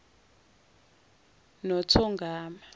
nothongama